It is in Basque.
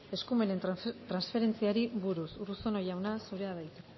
eskumenen transferentziari buruz urruzuno jauna zurea da hitza